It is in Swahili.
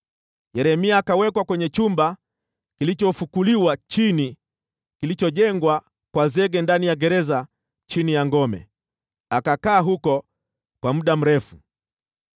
Yeremia akawekwa kwenye chumba kilichofukuliwa chini, kilichojengwa kwa zege ndani ya gereza chini ya ngome, akakaa huko kwa muda mrefu.